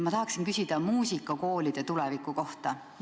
Ma tahan küsida muusikakoolide tuleviku kohta.